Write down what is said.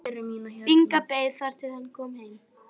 Inga beið þar til hann kom heim.